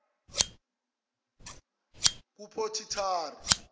kuphothitari